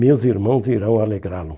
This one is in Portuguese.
Meus irmãos irão alegrá-lo.